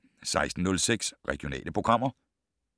16:06: Regionale programmer